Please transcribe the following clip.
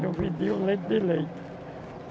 Não vendia um litro de leite.